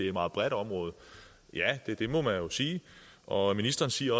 et meget bredt område ja det må man jo sige og og ministeren siger